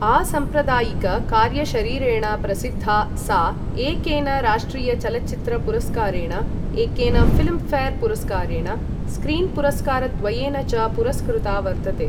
असाम्प्रदायिक कार्यशरीरेण प्रसिद्धा सा एकेन राष्ट्रिय चलच्चित्र पुरस्कारेण, एकेन ऴिल्म्ऴेर् पुरस्कारेण, स्क्रीन् पुरस्कारद्वयेन च पुरस्कृता वर्तते।